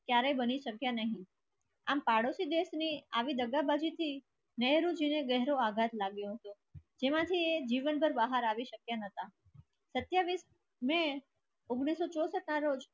ક્યારે બની શક્યા નહીં. આમ પાડોશી દેશને આવી દગા બાકી છે. તેમાંથી જીવન પર બહાર આવી શક્યા ન હતા. તથ્ય મેં ઉંગ્નીસ સો ચોસત ના જો